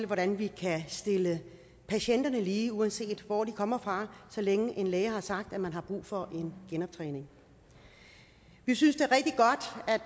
hvordan vi kan stille patienterne lige uanset hvor de kommer fra så længe en læge har sagt at man har brug for en genoptræning vi synes